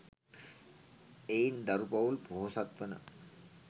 එයින් දරු පවුල් පොහොසත්වන